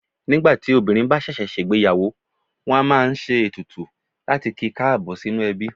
Nígbà tí obìnrin bá ṣẹ̀ṣẹ̀ ṣègbéyàwó, wọ́n máa ń ṣe àwọn etùtù láti kí i káàbọ̀ sínú ẹbí